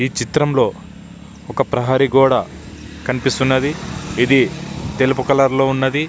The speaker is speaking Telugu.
ఈ చిత్రంలో ఒక ప్రహరీ గోడ కనిపిస్తున్నది. ఇది తెలుపు కలర్ లో ఉన్నది.